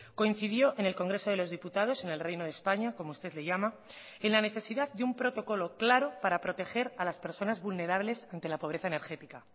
coincidió en el congreso de los diputados en el reino de españa como usted le llama en la necesidad de un protocolo claro para proteger a las personas vulnerables ante la pobreza energética